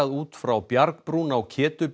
út frá bjargbrún á